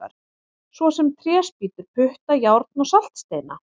Svo sem tréspýtur, putta, járn og saltsteina!